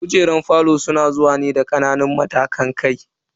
Kujerun falon sun zo ne da kananan matashin kai.